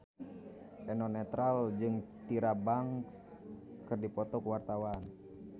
Eno Netral jeung Tyra Banks keur dipoto ku wartawan